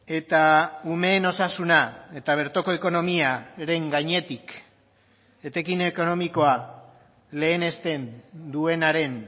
eta umeen osasuna eta bertoko ekonomiaren gainetik etekin ekonomikoa lehenesten duenaren